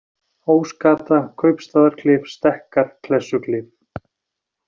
Ósgata, Kaupstaðarklif, Stekkar, Klessuklif